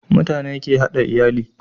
mutane ke hada iyali